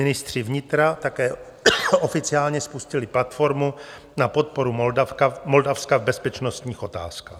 Ministři vnitra také oficiálně spustili platformu na podporu Moldavska v bezpečnostních otázkách.